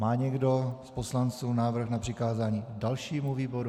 Má někdo z poslanců návrh na přikázání dalšímu výboru?